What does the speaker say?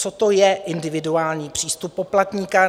Co to je individuální přístup poplatníka?